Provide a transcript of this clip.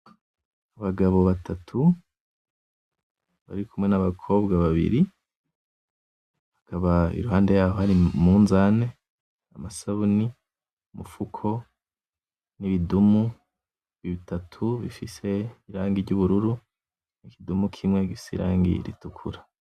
Abagabo batatu bari kumwe n'abakobwa babiri, hakaba iruhande yaho hari umunzane; amasabuni; umufuko; n'ibidumu bitatu bifise irangi ry'ubururu; n'ikidumu kimwe gifise irangi ritukura.